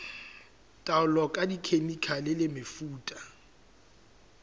taolo ka dikhemikhale le mefuta